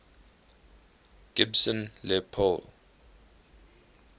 gibson les paul